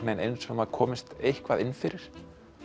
eins og maður komist eitthvað inn fyrir